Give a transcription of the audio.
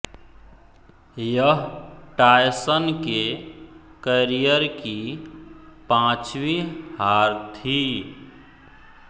यह टायसन के कॅरिअर की पांचवीं हार थी